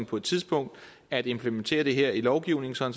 på et tidspunkt at implementere det her i lovgivningen så